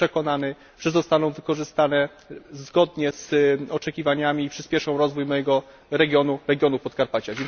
Jestem przekonany, że zostaną wykorzystane zgodnie z oczekiwaniami i przyspieszą rozwój mojego regionu regionu Podkarpacia.